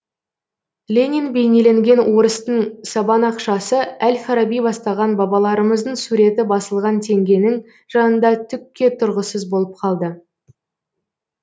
ленин бейнеленген орыстың сабан ақшасы әл фараби бастаған бабаларымыздың суреті басылған теңгенің жанында түкке тұрғысыз болып қалды